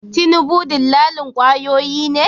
Tinubu dillalin kwayoyi ne?